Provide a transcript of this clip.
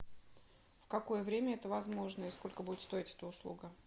в какое время это возможно и сколько будет стоить эта услуга